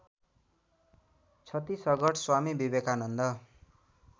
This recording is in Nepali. छत्तीसगढ स्वामी विवेकानन्द